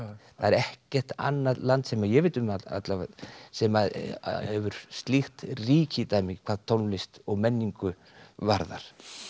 það er ekkert annað land sem ég veit um alla vega sem að hefur slíkt ríkidæmi hvað tónlist og menningu varðar